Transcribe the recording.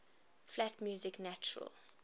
flat music natural